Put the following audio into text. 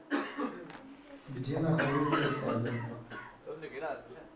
где находится стагер